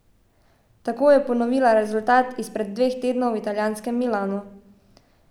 Tako je ponovila rezultat izpred dveh tednov v italijanskem Milanu.